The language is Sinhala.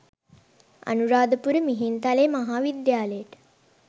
අනුරාධපුර මිහින්ත‍ලේ මහා විද්‍යාලයට